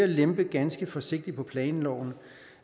lempe ganske forsigtigt på planloven